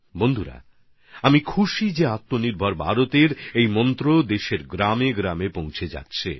আর বন্ধুরা আমি আনন্দিত যে আত্মনির্ভর ভারতের এই মন্ত্র এখন দেশের গ্রামে গ্রামে পৌঁছে যাচ্ছে